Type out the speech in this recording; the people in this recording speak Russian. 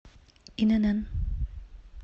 инн